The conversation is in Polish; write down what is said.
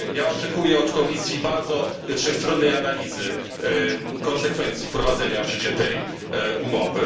Oczekuję od Komisji bardzo wszechstronnej analizy konsekwencji wprowadzenia w życie tej umowy.